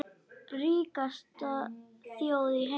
Ríkasta þjóð í heimi.